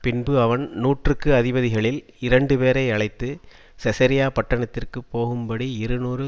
பின்பு அவன் நூற்றுக்கு அதிபதிகளில் இரண்டுபேரை அழைத்து செசரியா பட்டணத்திற்குப் போகும்படி இருநூறு